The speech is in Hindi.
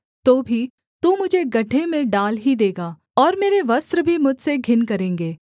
तो भी तू मुझे गड्ढे में डाल ही देगा और मेरे वस्त्र भी मुझसे घिन करेंगे